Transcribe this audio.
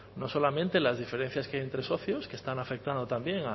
no solamente las diferencias que hay entre socios que están afectando también